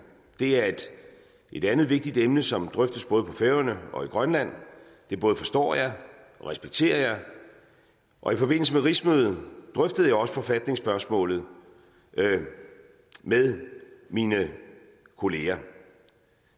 det er et andet vigtigt emne som drøftes både på færøerne og i grønland det både forstår jeg og respekterer jeg og i forbindelse med rigsmødet drøftede jeg også forfatningsspørgsmålet med mine kollegaer